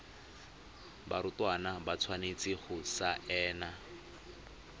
barutwana ba tshwanetse go saena